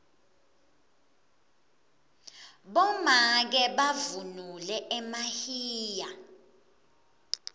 bomake bavunula emahiya